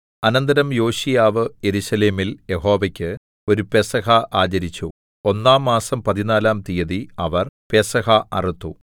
അനന്തരം യോശീയാവ് യെരൂശലേമിൽ യഹോവയ്ക്ക് ഒരു പെസഹ ആചരിച്ചു ഒന്നാം മാസം പതിനാലാം തീയതി അവർ പെസഹ അറുത്തു